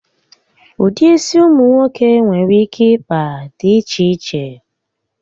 Ụdị isi ụmụ nwoke nwere ike ịkpa di iche iche